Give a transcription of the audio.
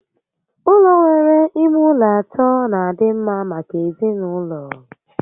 Ụlọ nwere ime ụlọ atọ n'adị mma maka ezinaụlọ